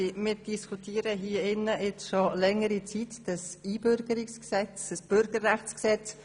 Wir diskutieren hier im Rat schon längere Zeit über das KBüG.